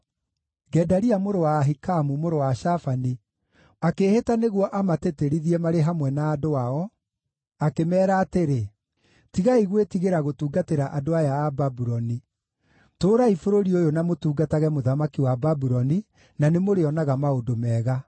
Gedalia mũrũ wa Ahikamu, mũrũ wa Shafani akĩĩhĩta nĩguo amatĩtĩrithie marĩ hamwe na andũ ao, akĩmeera atĩrĩ, “Tigai gwĩtigĩra gũtungatĩra andũ aya a Babuloni. Tũũrai bũrũri ũyũ na mũtungatage mũthamaki wa Babuloni, na nĩmũrĩonaga maũndũ mega.